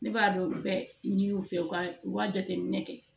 Ne b'a dɔn bɛ n'u fɛ u ka u ka jateminɛ kɛ